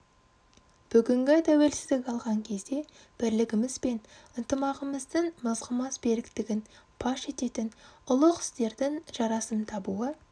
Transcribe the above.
бүгінгі тәуелсіздік алған кезде бірлігіміз бен ынтымағымыздың мызғымас беріктігін паш ететін ұлық істердің жарасым табуы